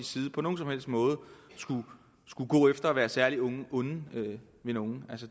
side på nogen som helst måde skulle gå efter at være særlig onde ved nogen